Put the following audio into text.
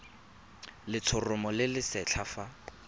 letshoroma le le setlha fa